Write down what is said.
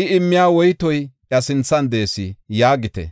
I immiya woytoy iya sinthan de7ees’ yaagite.